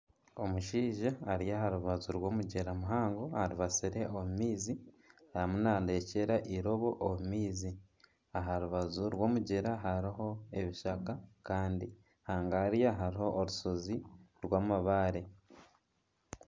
Omushaija ari aha rubaju rw'omugyera muhango aribatsire omu maizi arimu narekyera eirobo omu maizi. Aha rubaju rw'omugyera hariho ebishaka kandi hangahari hariho orushozi rw'amabaare.